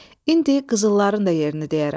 İndi qızılların da yerini deyərəm.